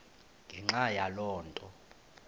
ngenxa yaloo nto